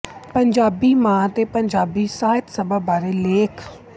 ਪੰਜਾਬੀ ਮਾਂ ਤੇ ਪੰਜਾਬੀ ਸਾਹਿਤ ਸਭਾ ਬਾਰੇ ਲ਼ੈਖ